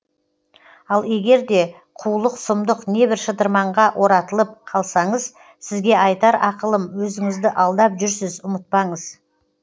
ал егерде қулық сұмдық небір шытырманға оратылып қалсаңыз сізге айтар ақылым өзіңізді алдап жүрсіз ұмытпаңыз